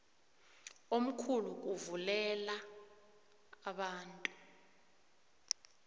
omkhulu kuvulela abantu